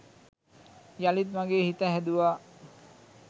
යළිත් මගේ හිත හැදුවා.